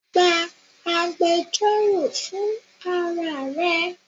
Gba agbẹjọro fun ara re!